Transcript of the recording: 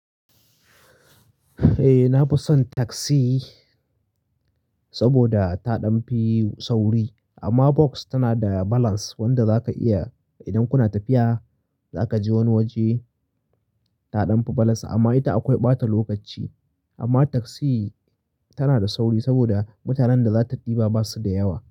Eh, na fi son taxi saboda taɗan fi sauri amma Voks tana da balance wanda za ka iya idan kuna tafiya za ka je wani waje taɗan fi balance amma ita akwai ɓata lokaci. Amma taxi tana da sauri saboda mutanen da za ta ɗiba ba su da yawa.